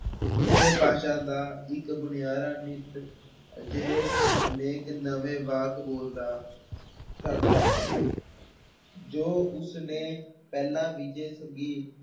ਕਿਸੇ ਭਾਸ਼ਾ ਦਾ ਇੱਕ ਬੁਨਿਆਰਾ ਨਿੱਤ ਅਜਿਹੇ ਅਨੇਕ ਨਵੇਂ ਵਾਕ ਬੋਲਦਾ ਕਰਦਾ ਹੈ ਜੋ ਉਸਨੇ ਪਹਿਲੇ ਵਿਜੈ ਸੱਗੀ